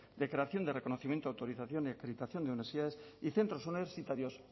de creación de reconocimiento autorización y acreditación de universidades y centros universitarios